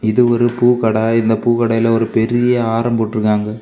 இது ஒரு பூக்கட இந்த பூக்கடையில ஒரு பெரிய ஆரோ போட்ருக்காங்க.